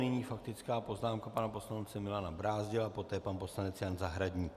Nyní faktická poznámka pana poslance Milana Brázdila, poté pan poslanec Jan Zahradník.